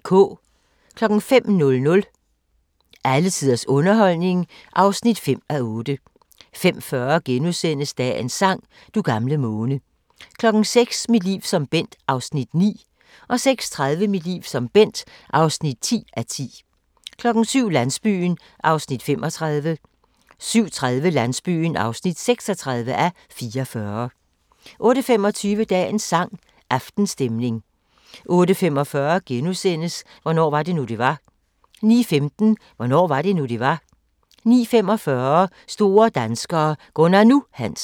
05:00: Alle tiders underholdning (5:8) 05:40: Dagens sang: Du gamle måne * 06:00: Mit liv som Bent (9:10) 06:30: Mit liv som Bent (10:10) 07:00: Landsbyen (35:44) 07:30: Landsbyen (36:44) 08:25: Dagens sang: Aftenstemning 08:45: Hvornår var det nu, det var? * 09:15: Hvornår var det nu, det var? 09:45: Store danskere - Gunnar "Nu" Hansen